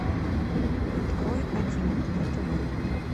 открой один на тв